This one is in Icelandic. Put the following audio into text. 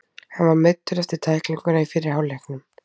Hann var meiddur eftir tæklinguna í fyrri hálfleiknum.